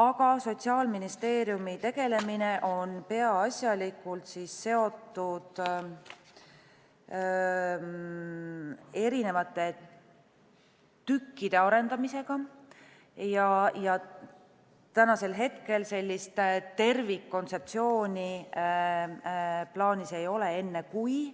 Aga Sotsiaalministeeriumi tegelemine on peaasjalikult seotud erinevate tükkide arendamisega ja praegu sellist tervikkontseptsiooni plaanis ei ole enne, kui